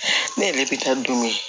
Ne yɛrɛ bɛ taa dumuni